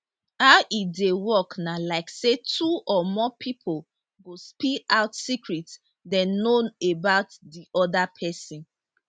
how e dey work na like say two or more pipo go spill out secret dem know about di oda pesin